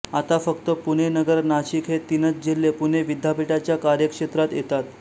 आता फक्त पुणे नगर नाशिक हे तीनच जिल्हे पुणे विद्यापीठाच्या कार्यक्षेत्रात येतात